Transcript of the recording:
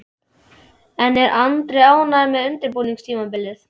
En er Andri ánægður með undirbúningstímabilið?